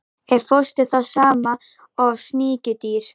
Er fóstur það sama og sníkjudýr?